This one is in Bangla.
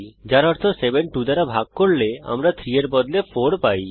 যার অর্থ 7 2 দ্বারা ভাগ করলে আমরা 3 এর বদলে 4 পাই